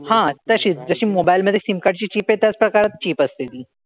हां तशीच. जशी mobile मधे SIM card ची chip येत असते तशीच chip असते ती.